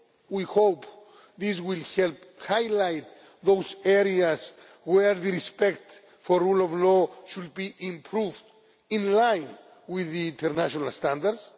We hope this will help highlight those areas where respect for rule of law should be improved, in line with international standards.